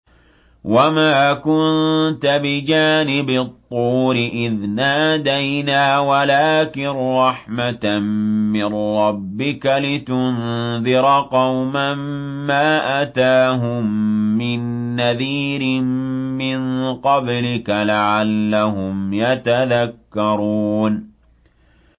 وَمَا كُنتَ بِجَانِبِ الطُّورِ إِذْ نَادَيْنَا وَلَٰكِن رَّحْمَةً مِّن رَّبِّكَ لِتُنذِرَ قَوْمًا مَّا أَتَاهُم مِّن نَّذِيرٍ مِّن قَبْلِكَ لَعَلَّهُمْ يَتَذَكَّرُونَ